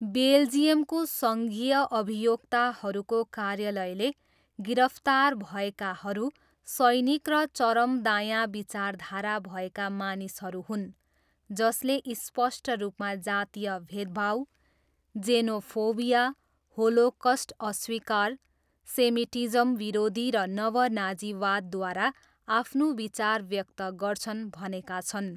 बेल्जियमको सङ्घीय अभियोक्ताहरूको कार्यालयले गिरफ्तार भएकाहरू 'सैनिक र चरम दायाँ विचारधारा भएका मानिसहरू हुन् जसले स्पष्ट रूपमा जातीय भेदभाव, जेनोफोबिया, होलोकस्ट अस्वीकार, सेमिटिज्म विरोधी र नव नाजीवादद्वारा आफ्नो विचार व्यक्त गर्छन्' भनेका छन्।